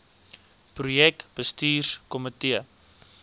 projek bestuurs komitee